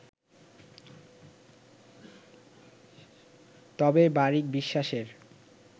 তবে বারিক বিশ্বাসের